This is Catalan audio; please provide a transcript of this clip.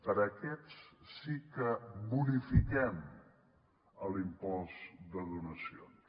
per a aquests sí que bonifiquem l’impost de donacions